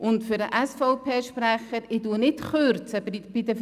An den SVP-Sprecher: Ich kürze nicht bei den privaten Anbietern.